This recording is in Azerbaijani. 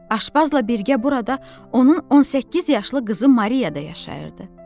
Aşpazla birgə burada onun 18 yaşlı qızı Maria da yaşayırdı.